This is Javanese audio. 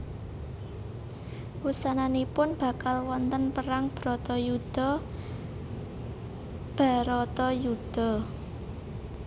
Wusananipun bakal wonten perang Bratayuda Bharatayuddha